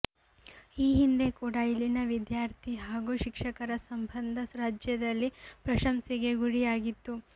ಈ ಹಿಂದೆ ಕೂಡ ಇಲ್ಲಿನ ವಿದ್ಯಾರ್ಥಿ ಹಾಗೂ ಶಿಕ್ಷಕರ ಸಂಬಂಧ ರಾಜ್ಯದಲ್ಲೇ ಪ್ರಶಂಸೆಗೆ ಗುರಿಯಾಗಿತ್ತು